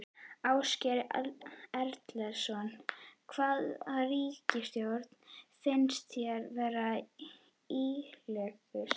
Ásgeir Erlendsson: Hvaða ríkisstjórn finnst þér vera líklegust?